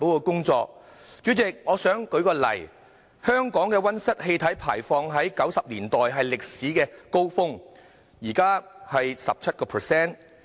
舉例而言，香港的溫室氣體排放在1990年代達到歷史高峰，現在則為 17%。